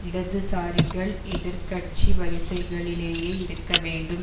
இடதுசாரிகள் எதிர் கட்சி வரிசைகளிலேயே இருக்க வேண்டும்